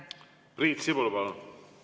Priit Sibul, palun!